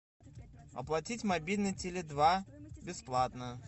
оплатить мобильный теле два бесплатно